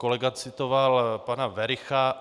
Kolega citoval pana Wericha.